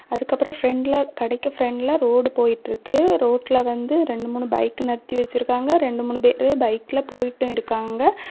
அதுக்கு அப்புறம் பிரெண்ட்ல கடைக்கு பிரெண்ட்ல ரோடு போயிட்டிருக்கு ரோட்ல வந்து ரெண்டு மூணு பைக் நிறுத்தி வச்சிருக்காங்க ரெண்டு மூணு பேர் பைக்ல போயிட்டும் இருக்காங்க.